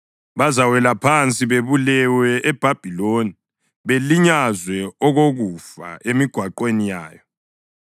Bazawela phansi bebulewe eBhabhiloni belinyazwe okokufa emigwaqweni yayo.